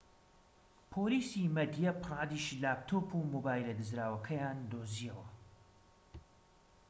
پۆلیسی مەدیە پرادیش لاپتۆپ و مۆبایلە دزراوەکەیان دۆزیەوە